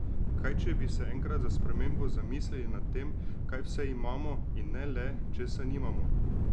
Kaj če bi se enkrat za spremembo zamislili nad tem, kaj vse imamo, in ne le, česa nimamo?